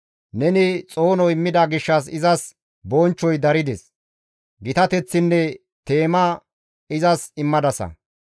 Neni xoono immida gishshas izas bonchchoy darides; gitateththinne teema izas immadasa.